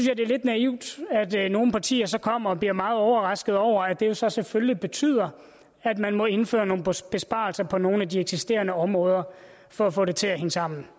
er lidt naivt at nogle partier så kommer og bliver meget overrasket over at det så selvfølgelig betyder at man må indføre nogle besparelser på nogle af de eksisterende områder for at få det til at hænge sammen